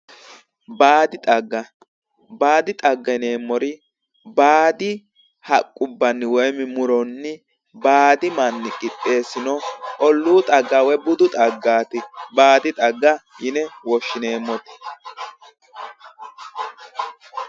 Baadi xagga baadi xagga yineemmori baadi haqqubbanni woyi muronni baadi manni qixxeessino olluu xagga woyi budu xaggaati baadi xagga yine woshshineemmoti